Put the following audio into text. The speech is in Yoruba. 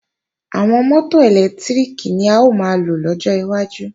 Àwọn mọ́tò ẹ̀lẹ́tíríkì ni a ó máa lò ní ọjọ́ iwájú